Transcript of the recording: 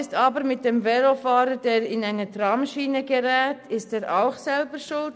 Ist jedoch ein Velofahrer, welcher in eine Tramschiene gerät, auch selber schuld?